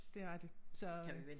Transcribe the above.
Det rigtig så øh